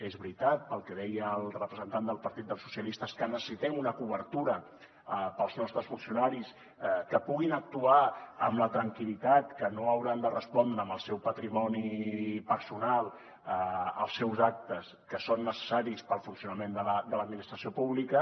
és veritat el que deia el representant del partit socialistes que necessitem una cobertura per als nostres funcionaris que puguin actuar amb la tranquil·litat que no hauran de respondre amb el seu patrimoni personal als seus actes que són necessaris per al funcionament de l’administració pública